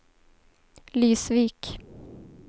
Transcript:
Lysvik